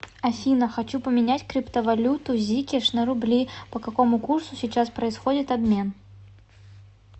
афина хочу поменять криптовалюту зикеш на рубли по какому курсу сейчас происходит обмен